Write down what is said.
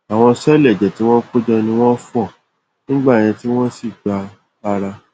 àwọn sẹẹlì ẹjẹ tí wọn kó jọ ni wọn fọ nígbẹyìn tí wọn sì gba ara